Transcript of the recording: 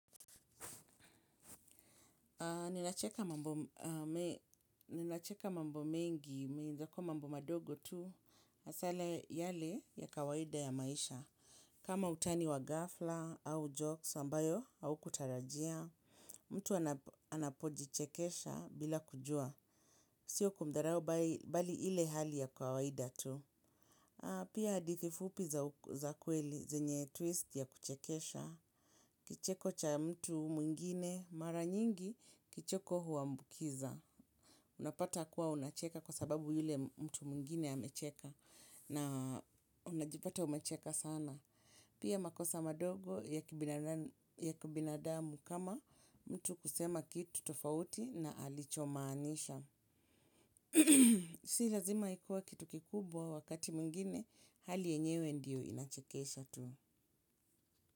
Ninacheka mambo mengi, mwenzako mambo madogo tu, hasa yale ya kawaida ya maisha. Kama utani wa ghafla au jokes ambayo haukutarajia, mtu anapojichekesha bila kujua. Siyo kumdharau bali ile hali ya kawaida tu. Pia hadithi fupi za kweli zenye twist ya kuchekesha. Kicheko cha mtu mwingine mara nyingi kicheko huambukiza. Unapata kuwa unacheka kwa sababu yule mtu mwingine amecheka na unajipata umecheka sana. Pia makosa madogo ya kibinadamu kama mtu kusema kitu tofauti na alichomaanisha. Si lazima ikuwe kitu kikubwa wakati mwingine hali yenyewe ndiyo inachekesha tu.